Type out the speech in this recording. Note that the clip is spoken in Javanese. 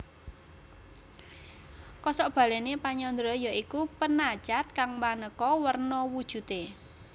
Kosok balèné penyandra ya iku penacat kang manéka werna wujudé